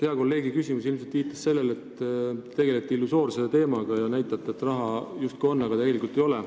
Hea kolleegi küsimus viitas ilmselt selle, et te tegelete illusoorse teemaga ja näitate, et raha justkui on, kuigi tegelikult ei ole.